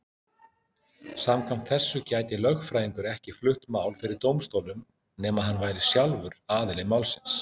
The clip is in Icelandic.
Samkvæmt þessu gæti lögfræðingur ekki flutt mál fyrir dómstólum nema hann væri sjálfur aðili málsins.